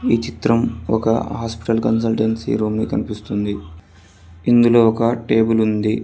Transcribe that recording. ఈ చిత్రం ఒక హాస్పిటల్ కన్సల్టెన్సీ రూమ్ ని కనిపిస్తుంది ఇందులో ఒక టేబుల్ ఉంది.